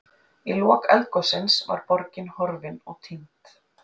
Í lok eldgossins var borgin horfin og týnd.